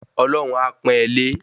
Ọlọ́hun a pọn e lé